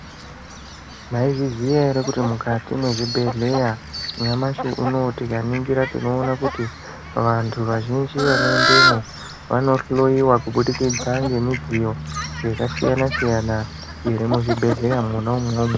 Mwaizviziya ere kuti mukati mwezvibhehleya nyamashi uno tikaningira tinoona kuti vantu vazhinji vanoendamo vanohloiwa kubudikidza ngemudziyo yakasiyana siyana iri muzvibhehleya mwona umwomwo.